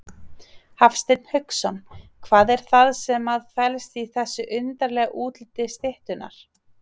Hafsteinn Hauksson: Hvað er það sem að felst í þessu undarlega útliti styttunnar?